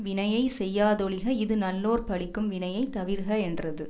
வினையை செய்யாதொழிக இது நல்லோர் பழிக்கும் வினையை தவிர்க என்றது